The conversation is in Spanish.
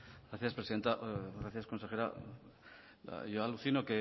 gracias presidenta gracias consejera yo alucino